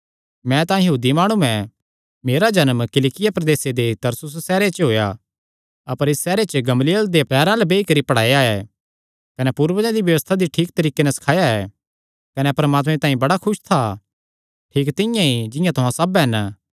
मैं तां यहूदी माणु ऐ मेरा जन्म किलिकिया प्रदेसे दे तरसुसे सैहरे च होएया अपर इस सैहरे च गमलीएल देयां पैरां अल्ल बेई करी पढ़ाया ऐ कने पूर्वजां दी व्यबस्था दी ठीक तरीके पर सखाया ऐ कने परमात्मे तांई बड़ा खुस था ठीक तिंआं ई जिंआं तुहां सब हन